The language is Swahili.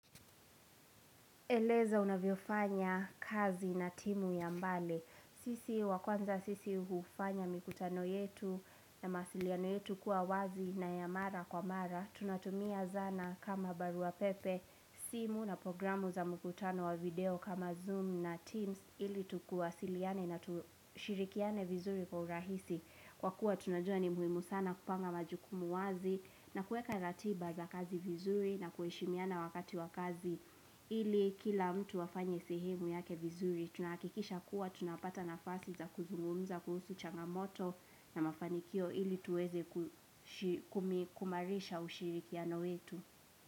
Eleza unavyofanya kazi na timu ya mbali sisi wa kwanza sisi ufanya mikutano yetu na mawasiliano yetu kuwa wazi na ya mara kwa mara tunatumia zana kama barua pepe simu na programu za mkutano wa video kama zoom na teams ili tuwasiliane na tushirikiane vizuri kwa urahisi kwa kuwa tunajua ni muhimu sana kupanga majukumu wazi na kuweka ratiba za kazi vizuri na kuheshimiana wakati wakazi ili kila mtu afanye sehemu yake vizuri tunahakikisha kuwa tunapata nafasi za kuzungumza kuhusu changamoto na mafanikio ili tuweze kuimarisha ushirikiano wetu.